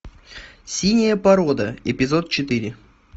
синяя порода эпизод четыре